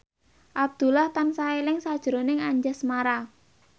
Abdullah tansah eling sakjroning Anjasmara